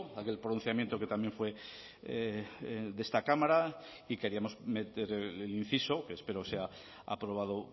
aquel pronunciamiento que también fue de esta cámara y queríamos meter el inciso que espero sea aprobado